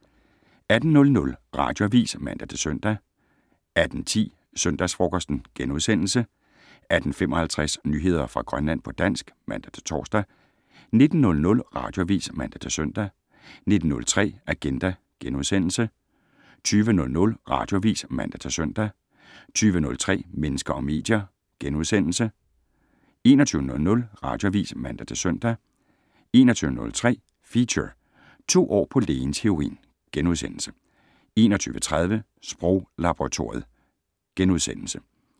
18:00: Radioavis (man-søn) 18:10: Søndagsfrokosten * 18:55: Nyheder fra Grønland på dansk (man-tor) 19:00: Radioavis (man-søn) 19:03: Agenda * 20:00: Radioavis (man-søn) 20:03: Mennesker og medier * 21:00: Radioavis (man-søn) 21:03: Feature: To år på lægens heroin * 21:30: Sproglaboratoriet *